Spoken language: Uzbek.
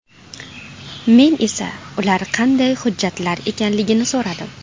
Men esa ular qanday hujjatlar ekanligini so‘radim.